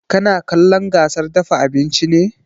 Kana kallon gasar dafa abinci ne?